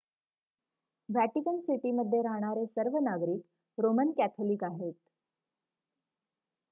Vatican सिटीमध्ये राहणारे सर्व नागरिक रोमन कॅथोलिक आहेत